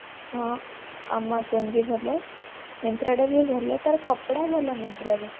ହଁ amazon ବି ଭଲ myntra ଟା ବି ଭଲ ତାର କପଡା ଭଲ myntra ରେ